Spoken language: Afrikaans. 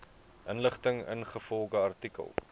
inligting ingevolge artikel